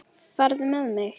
Farðu með mig.